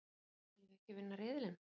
Viljum við ekki vinna riðilinn?